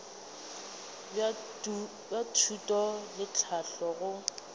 bja thuto le tlhahlo go